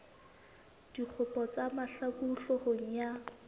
dikgopo tsa mahlaku hloohong ya